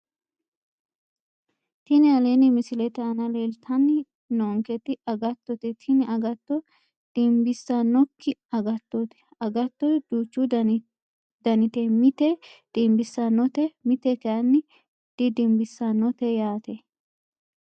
Tini aleenni misilete aana leeltanni noonketi agattote tini agatto dimmbissannokki agattooti agatto duuchu danite mite dimbissannote mite kayinni didimbissannote yaate